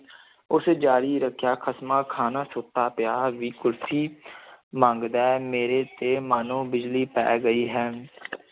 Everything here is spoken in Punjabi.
ਉਸ ਜਾਰੀ ਰੱਖਿਆ, ਖਸਮਾਂ ਖਾਣਾ ਸੁੱਤਾ ਪਿਆ ਵੀ ਕੁਲਫ਼ੀ ਮੰਗਦਾ ਹੈ, ਮੇਰੇ ਤੇ ਮਾਨੋ ਬਿਜਲੀ ਪੈ ਗਈ ਹੈ